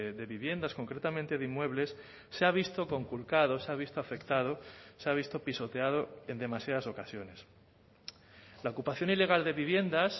de viviendas concretamente de inmuebles se ha visto conculcado se ha visto afectado se ha visto pisoteado en demasiadas ocasiones la ocupación ilegal de viviendas